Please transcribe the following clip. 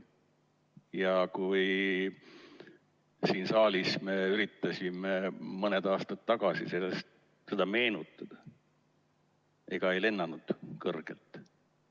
Ja kui me siin saalis üritasime mõni aasta tagasi seda meenutada, siis ega ei lennanud kõrgelt.